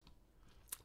DR1